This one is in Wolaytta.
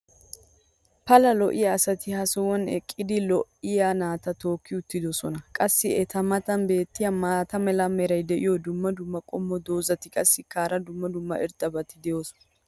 pala lo'iya asati ha sohuwan eqqidi lo'iyaa naata tookki uttidosona. qassi eta matan beetiya maata mala meray diyo dumma dumma qommo dozzati qassikka hara dumma dumma irxxabati doosona.